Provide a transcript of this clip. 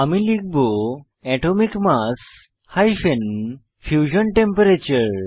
আমি লিখব atomic mass hyphen fusion temperature